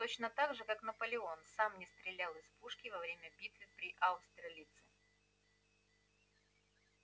точно так же как наполеон сам не стрелял из пушки во время битвы при аустерлице